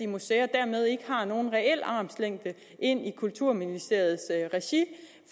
museer dermed ikke har nogen reel armslængde ind i kulturministeriets regi